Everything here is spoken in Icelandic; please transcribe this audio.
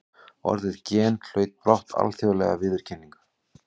Orðið gen hlaut brátt alþjóðlega viðurkenningu.